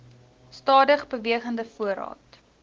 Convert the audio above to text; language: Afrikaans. stadig bewegende voorraad